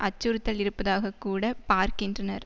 அச்சுறுத்தல் இருப்பதாக கூட பார்க்கின்றனர்